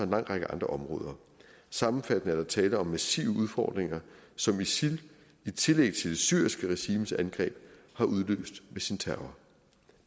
lang række andre områder sammenfattende er der tale om massive udfordringer som isil i tillæg til det syriske regimes angreb har udløst med sin terror